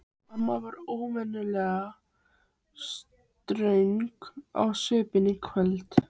Amma var óvenjulega ströng á svipinn í kvöld.